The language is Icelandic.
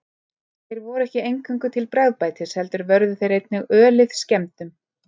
Þeir voru ekki eingöngu til bragðbætis heldur vörðu þeir einnig ölið skemmdum.